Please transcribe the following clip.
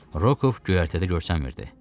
Rokov göyərtədə görünmürdü.